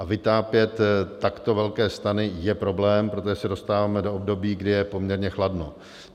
A vytápět takto velké stany je problém, protože se dostáváme do období, kdy je poměrně chladno.